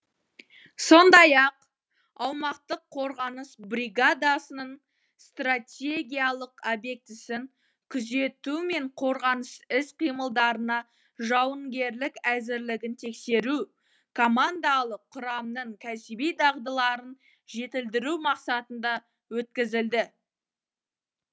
сондай ақ аумақтық қорғаныс бригадасының стратегиялық обьектісін күзету мен қорғаныс іс қимылдарына жауынгерлік әзірлігін тексеру командалық құрамның кәсіби дағдыларын жетілдіру мақсатында өткізілді